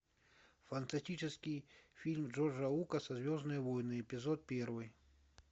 фантастический фильм джорджа лукаса звездные войны эпизод первый